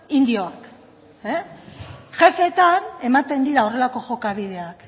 indioak jefeetan ematen dira horrelako jokabideak